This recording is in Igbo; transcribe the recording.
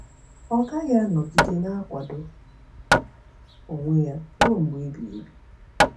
Ọ gaghị anọgide na-akwado onwe ya ruo mgbe ebighị ebi.